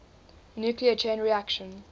nuclear chain reaction